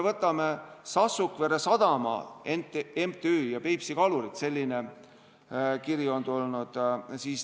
Võtame Sassukvere Sadama MTÜ ja Peipsi kalurid, kellelt kiri on tulnud.